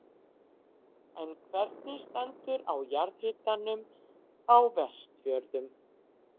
En hvernig stendur á jarðhitanum á Vestfjörðum?